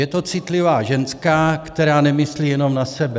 Je to citlivá ženská, která nemyslí jenom na sebe.